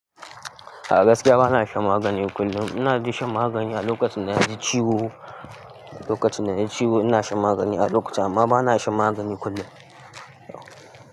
A gaskiya ba na shan magani kullum. Ina ji shan magani, a lokacin danaji ciwo. A lokacin danaji ciwo ina shan magani, a lokacin amma ba na shan magani kullum.